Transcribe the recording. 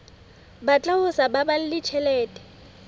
batla ho sa baballe tjhelete